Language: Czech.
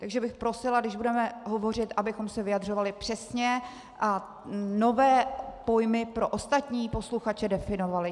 Takže bych prosila, když budeme hovořit, abychom se vyjadřovali přesně a nové pojmy pro ostatní posluchače definovali.